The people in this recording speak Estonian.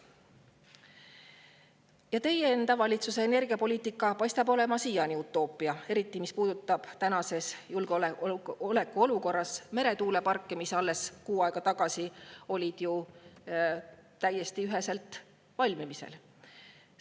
Ja teie enda valitsuse energiapoliitika paistab olevat siiani utoopia, eriti mis puudutab tänases julgeolekuolukorras meretuuleparke, mis alles kuu aega tagasi oli ju täiesti ühese valmis.